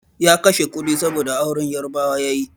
Ya kashe kudi, saboda auren Yarabawa ya yi.